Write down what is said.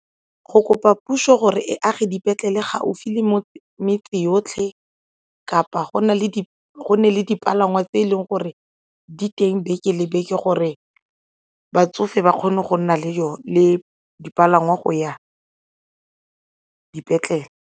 Go kopa puso gore e age dipetlele gaufi le mo metseng yotlhe kapa go nne le dipalangwa tse e leng gore di teng beke lebetse gore batsofe ba kgone go nna le yone le dipalangwa go ya dipetlele.